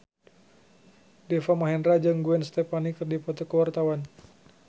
Deva Mahendra jeung Gwen Stefani keur dipoto ku wartawan